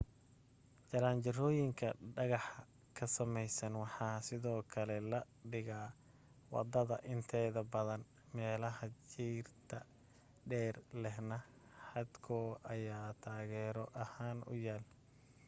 jaranjarooyinka dhagaxa ka samaysan waxa sidoo kale la dhigaa waddada inteeda badan meelaha jiirta dheer lehna xadhko ayaa taageero ahaan u yaal